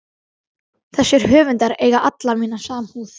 Þessir höfundar eiga alla mína samúð.